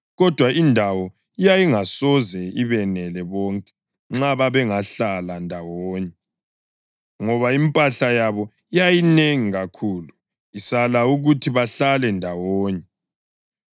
Kodwa indawo yayingasoze ibenele bonke nxa babengahlala ndawonye, ngoba impahla yabo yayinengi kakhulu, isala ukuthi bahlale ndawonye.